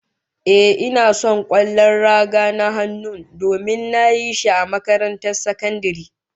Ehh, ina son kwallon raga na hannun, domin nayi shi a makarantar sakandare